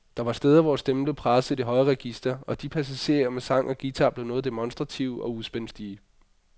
Der var steder hvor stemmen blev presset i det høje register, og de passagerne med sang og guitar blev noget demonstrative og uspændstige.